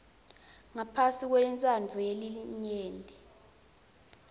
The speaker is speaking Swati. ngaphasi kwentsandvo yelinyenti